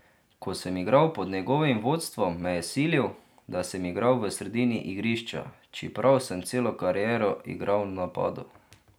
Ko sem igral pod njegovim vodstvom, me je silil, da sem igral v sredini igrišča, čeprav sem celo kariero igral v napadu.